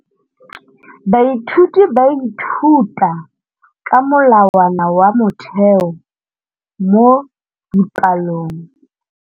Baithuti ba ithuta ka molawana wa motheo mo dipalong.